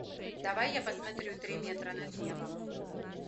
давай я посмотрю три метра над небом